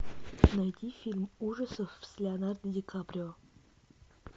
найди фильм ужасов с леонардо ди каприо